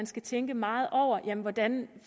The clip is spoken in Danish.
skal tænke meget over hvordan